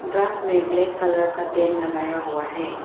Grass में black colour का टेन लगाया हुआ है।